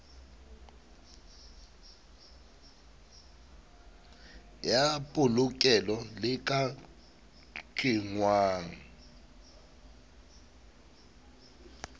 ya polokelo le ka kenngwang